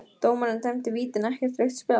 Dómarinn dæmdi víti en ekkert rautt spjald?